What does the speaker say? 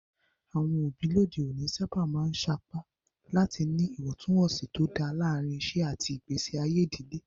Àwọn òbí lóde òní sábà máa ń sapá láti ní ìwọ̀ntúnwọ̀nsì tó dáa láàárín iṣẹ́ àti ìgbésí ayé ìdílé.